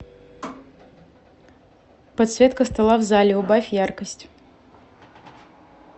подсветка стола в зале убавь яркость